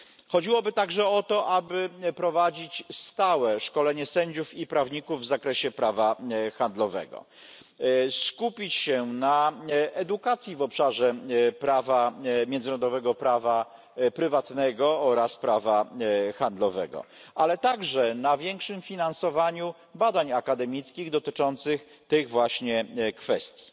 Chodziłoby także o to, aby prowadzić stałe szkolenie sędziów i prawników w zakresie prawa handlowego. Skupić się na edukacji w obszarze prawa międzynarodowego, prawa prywatnego oraz prawa handlowego, ale także na większym finansowaniu badań akademickich dotyczących tych właśnie kwestii.